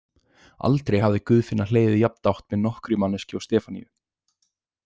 Aldrei hafði Guðfinna hlegið jafndátt með nokkurri manneskju og Stefaníu.